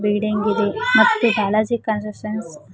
building ಇದೆ ಮತ್ತು Balaji constructions --